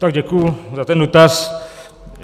Tak děkuji za ten dotaz.